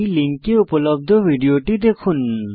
এই লিঙ্কে উপলব্ধ ভিডিওটি দেখুন